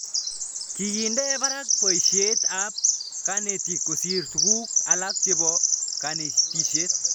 Kikinde parak poishet ab kanetik kosir tuguk alak chepo kanetishet